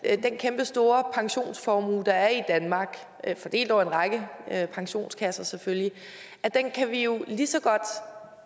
at den kæmpestore pensionsformue der er i danmark fordelt over en række pensionskasser selvfølgelig kan vi jo lige så godt